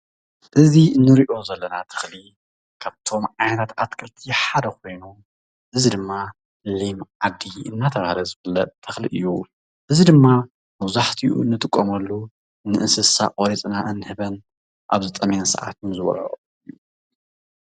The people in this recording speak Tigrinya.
እዚ እንሪኦ ዘለና ተኽሊ ካብቶም ዓይነት ኣትክልቲ ሓደ ኾይኑ እዚ ድማ ሊም ዓዲ እናተባህለ ዝፍለጥ ተኽሊ እዩ፡፡ እዚ ድማ መብዛሕቲኡ እንጥቀመሉ ንእንስሳ ቆሪፅና እንህበን ኣብ ዝጠምየን ሰዓትን ዝበልዖኦ።